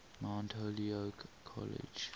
mount holyoke college